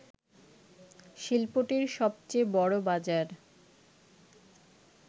শিল্পটির সবচেয়ে বড় বাজার